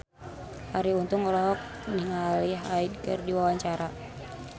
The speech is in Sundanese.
Arie Untung olohok ningali Hyde keur diwawancara